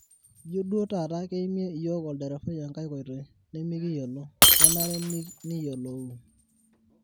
ijio duo taata keimie iyiok olderefai enkae koitoi nemikiyiolo ,kenare niyilouu